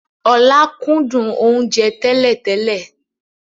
Ọlá kúndùn oúnjẹ tẹ́lẹ̀ tẹ́lẹ̀